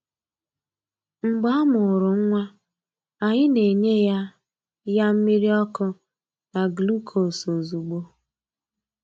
Mgbe a mụrụ nwa, anyị na-enye ya ya mmiri ọkụ na gluukos ozugbo.